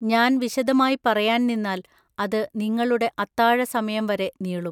ഞാൻ വിശദമായി പറയാൻ നിന്നാൽ അത് നിങ്ങളുടെ അത്താഴസമയം വരെ നീളും.